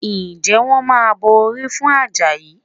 Ǹjẹ́ wọ́n máa bọ orí fún Àjàyí?